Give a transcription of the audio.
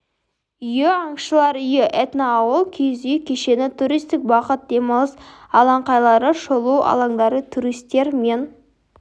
үйі аңшылар үйі этноауыл киіз үй кешені туристік бағыт демалыс алаңқайлары шолу алаңдары туристер мен